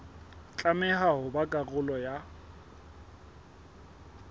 tlameha ho ba karolo ya